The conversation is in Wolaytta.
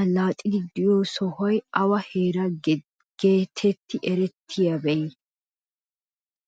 allaxiidi de'iyoo sohoykka awa heeraa getetti erettii be'iyoode?